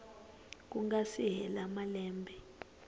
ku nga si hela malembe